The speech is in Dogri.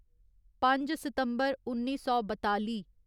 पंज सितम्बर उन्नी सौ बताली